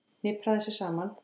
Hnipraði sig saman.